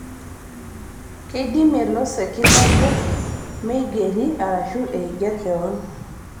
Keidimie losekin obo meigeri arashu eiger keon